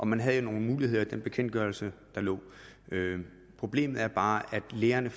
man havde nogle muligheder i den bekendtgørelse der lå problemet er bare at lærerne